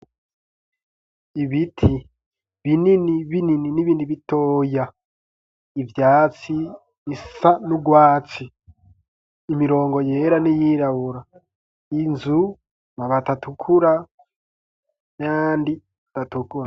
Ibiti binini binini n'ibindi bitoya ivyatsi bisa n'urwatsi imirongo yera n'iyirabura inzu amabati atukura nayandi atukura.